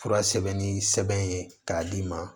Fura sɛbɛnni sɛbɛn ye k'a d'i ma